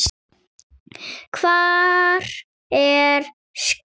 Hvar er skjól?